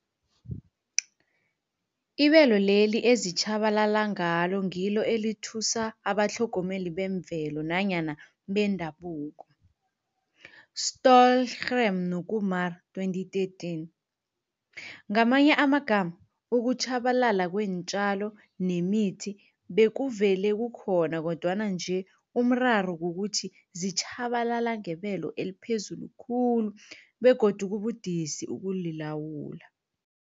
Ibelo leli ezitjhabalala ngalo ngilo elithusa abatlhogomeli bemvelo nanyana bendabuko, Stohlgren no-Kumar 2013. Ngamanye amagama, ukutjhabalala kweentjalo nemithi bekuvele kukhona kodwana nje umraro kukuthi zitjhabalala ngebelo eliphezulu khulu begodu kubudisi ukulilawula.